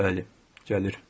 Bəli, gəlir.